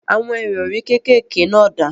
Àwọn ìrọrí kékèké náà dà?